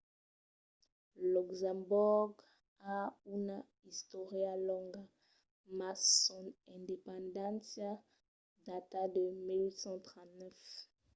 luxemborg a una istòria longa mas son independéncia data de 1839